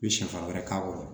I bɛ sɛfan wɛrɛ k'a kɔrɔ